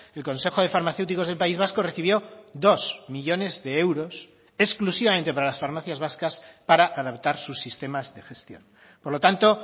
el consejo de farmacéuticos del país vasco recibió dos millónes de euros exclusivamente para las farmacias vascas para adaptar sus sistemas de gestión por lo tanto